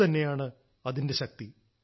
അതുതന്നെയാണ് അതിന്റെ ശക്തി